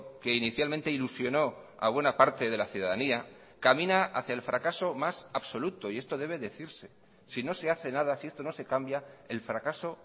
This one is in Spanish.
que inicialmente ilusionó a buena parte de la ciudadanía camina hacia el fracaso más absoluto y esto debe decirse si no se hace nada si esto no se cambia el fracaso